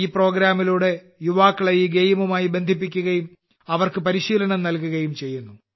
ഈ പരിപാടിയിലൂടെ യുവാക്കളെ ഈ ഗെയിമുമായി ബന്ധിപ്പിക്കുകയും അവർക്ക് പരിശീലനം നൽകുകയും ചെയ്യുന്നു